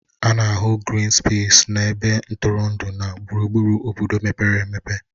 A na-ahụ grịn spesis na ebe ntụrụndụ na gburugburu obodo mepere emepe